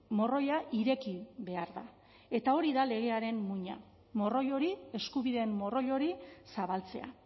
morroia ireki behar da eta hori da legearen muina morroi hori eskubideen morroi hori zabaltzea